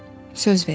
Söz verirəm.